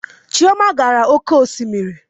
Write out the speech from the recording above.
Chioma gara oke osimiri